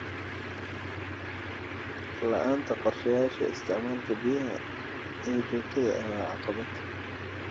La'aanta qorshayaasha isticmaalka biyaha ee joogtada ah waa caqabad.